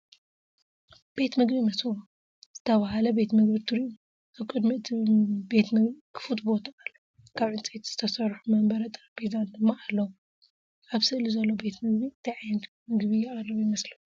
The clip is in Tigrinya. “ቤት መግቢ መሶብ” ዝተባህለ ቤት መግቢ ትርእዩ። ኣብ ቅድሚ እቲ ቤት መግቢ ክፉት ቦታ ኣሎ፡ ካብ ዕንጨይቲ ዝተሰርሑ መንበርን ጠረጴዛን ድማ ኣለዉ። ኣብ ስእሊ ዘሎ ቤት መግቢ እንታይ ዓይነት መግቢ የቕርብ ይመስለኩም?